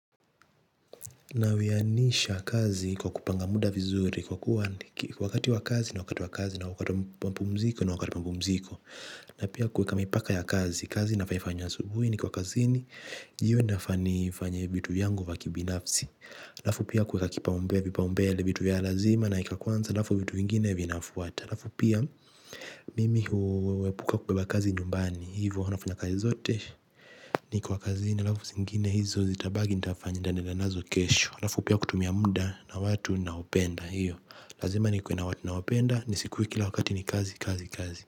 Na wiyanisha kazi kwa kupanga muda vizuri kwa kuwa wakati wa kazi ni wakati wa kazi na wakati wa mapumziko ni wakati wa mapumziko, na pia kuweka mipaka ya kazi. Kazi inafaa ifanywe asubuhi nikiwa kazini, jioni nafaa nifanye vitu vyangu vya kibinafsi. Halafu pia kuweka kipaumbele, vipaumbele, vitu vya lazima naweka kwanza halafu vitu vingine vinafuata. Halafu mimi huepuka kubeba kazi nyumbani hivyo nafanya kazi zote nikiwa kazini halafu zingine hizo zitabaki nitaendelea nazo kesho. Halafu pia kutumia mda na watu naopenda hiyo lazima nikuwe nawa nawapenda nisikuwe kila wakati ni kazi kazi kazi.